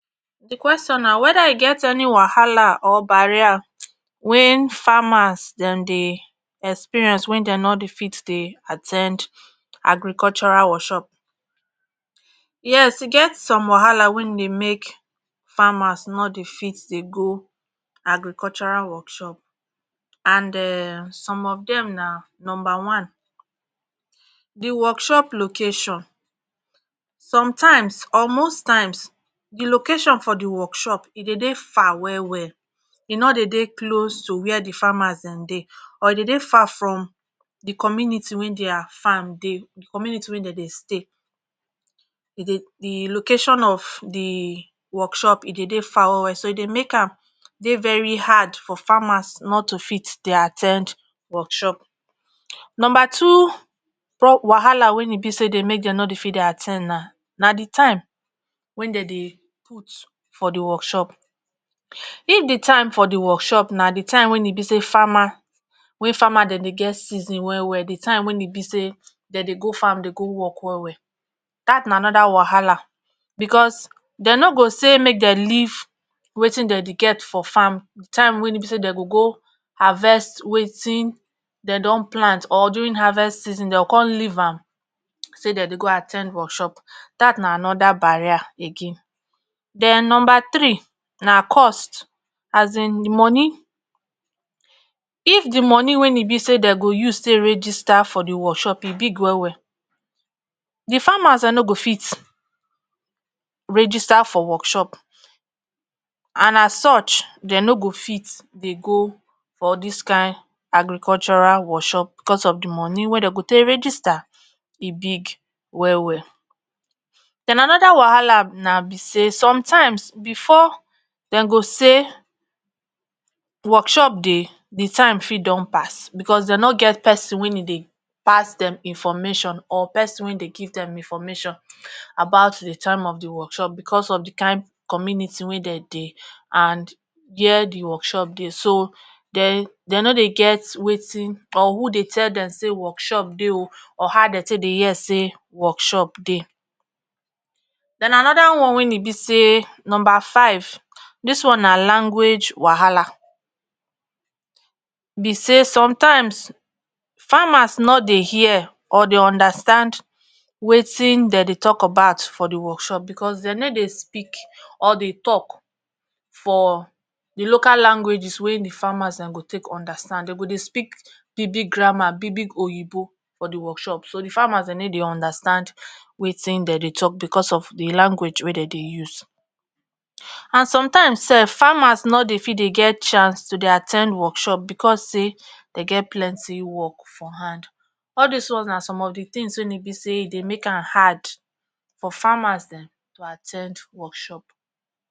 di question na weda e get any wahala or barrier wen farmers dem dey experience wen dem no dey fit dey at ten d agricultural warshop yes e get some wahala wey dey make farmers no dey fit dey go agricultural workshop and um some of dem na numba one. di workshop location some times or most times d location for d workshop e dey dey far well well e no dey dey close to where d farmers den dey or e dey dey far from d community wey dier farm dey, d community wey dem dey stay. e dey d location of the workshop e dey dey far well well so e dey make am dey very hard for farmers not to fit dey at ten d workshop. numba two wahala wey dey make dem no dey fit at ten d na na d time wey den den put for d workhop. if d time for d workshop na d time wey e be say farmer wey farmers dem dey get season well well d time wey e be say dem dey go farm go work well well dat na anoda wahala bcos den no go say make dem leave watin dem dey get for farm d time wey e be say dem go go havest watin den don plant or durin havest season dem go con leave am say dem dey go at ten d workhop dat na anoda barrier again. den number three na cost as in d moni, if d moni wen e be say dem go use take regista for d workshop e big well well, d farmers dem no go fit regista for workshop and as such den no go fit dey go for all dis kind agricultural workshop bcos of d moni wey den go use regista e big wel well. den anoda wahala na be say somtimes bfor dem go say workshop dey d time fit don pass bcos den no get persin e dey dey pass dem information or persin wey dey give dem information about d time of d workshop bcos of d kind community wey den dey and here d workshop dey so de dem no dey get watin or who dey tll dem say workshop dey o or how den take dey hear say workshop dey. den anoda one wey e be say numba five dis one na language wahala be say somtimes farmers no dey hear or dey understand watin dem dey talk about for d workshop bcos den no dey speakor dey talk for d local langauges wey d farmers dem go take understand dem go dey speak big big grammar big big oyibo for d workshop so d farmers den no dey understand watin dem dey talk bcos of d language wey dem dey use and sometimes sef farmers no dey fit dey get chance to dey at ten d workshop because say den get plenty workf for hand, all dis ones na som of d tins wey e be say e dey make am hard for farmers dem to at ten d workshop